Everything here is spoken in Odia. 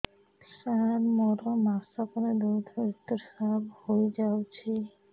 ସାର ମୋର ମାସକରେ ଦୁଇଥର ଋତୁସ୍ରାବ ହୋଇଯାଉଛି